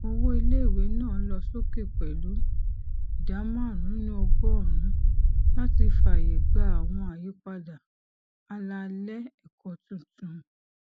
owó iléìwé náà lọ sókè pẹlú ìdá márùnún nínú ọgọrùnún láti fàyè gba àwọn àyípadà àlàálẹ ẹkọ tuntun